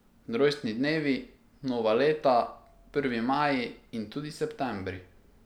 Rojstni dnevi, nova leta, prvi maji in tudi septembri.